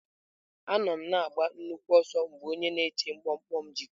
Anọ m na-agba nnukwu ọsọ mgbe onye na-eche mkpọmkpọ m ji pụọ.